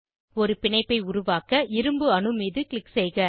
ஒரு பிணைப்பை உருவாக்க இரும்பு அணு மீது க்ளிக் செய்க